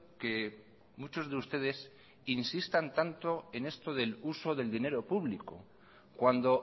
que muchos de ustedes insistan tanto en esto del uso del dinero público cuando